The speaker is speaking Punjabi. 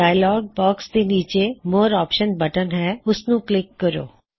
ਡਾਇਅਲੌਗ ਬਾਕ੍ਸ ਦੇ ਨੀਚੇ ਮੋਰ ਆਪ੍ਸ਼ਨ ਬਟਨ ਹੈ ਉਸਨੂੰ ਕਲਿੱਕ ਕਰੋ